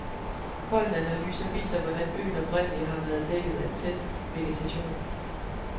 Pollenanalyser viser, hvordan øen oprindeligt har været dækket af tæt vegetation.